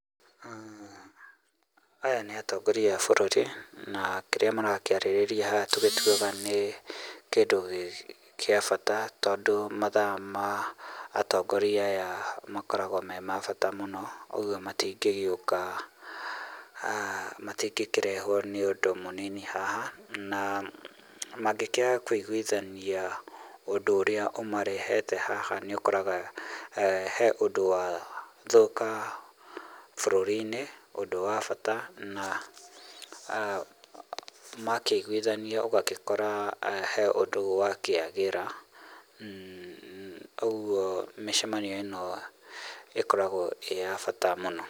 Aya nĩ atongoria a bũruri na kĩrĩa marakĩarĩrĩria haha tũgĩtuaga nĩ kĩndũ kia bata tondũ mathaa ma atongoria aya makoragwo me ma bata mũno. Ũguo matingĩgĩũka, matingĩkĩrehuo nĩ ũndũ mũnini haha, na mangĩkiaga kũiguithania ũndũ ũria ũmarehete haha nĩũkoraga he ũndũ wathũka bũrũriinĩ, ũndũ wa bata na makĩiguithania ũgagĩkora he ũndũ wakĩagĩra kogwo mĩcemanio ĩno ĩkoragwo ĩ ya bata mũno.